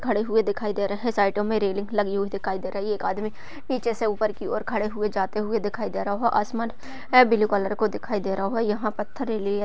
खडे हुए दिखाई दे रहे है साइडो में रेलिंग लगी हुई दिखाई दे रही है एक आदमी नीचे से ऊपर की और खड़े हुए जाते हुए दिखाई दे रहो है आसमान है ब्लू कलर का दिखाई दे रहो है यहाँ पत्थर लिए --